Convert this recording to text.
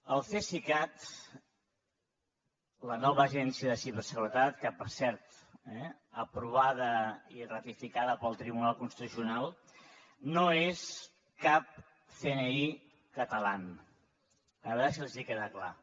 el cesicat la nova agència de ciberseguretat per cert eh aprovada i ratificada pel tribunal constitucional no és cap cni els queda clar